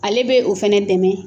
Ale bɛ o fɛnɛ dɛmɛ